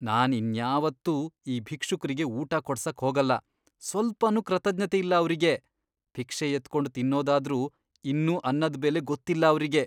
ನಾನ್ ಇನ್ಯಾವತ್ತೂ ಈ ಭಿಕ್ಷುಕ್ರಿಗೆ ಊಟ ಕೊಡ್ಸಕ್ ಹೋಗಲ್ಲ, ಸ್ವಲ್ಪನೂ ಕೃತಜ್ಞತೆ ಇಲ್ಲ ಅವ್ರಿಗೆ, ಭಿಕ್ಷೆ ಎತ್ಕೊಂಡ್ ತಿನ್ನೋದಾದ್ರೂ ಇನ್ನೂ ಅನ್ನದ್ ಬೆಲೆ ಗೊತ್ತಿಲ್ಲ ಅವ್ರಿಗೆ.